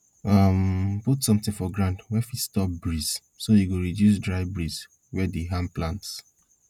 um put sometin for ground wey fit stop breeze so e go reduce dry breeze wey dey harm plants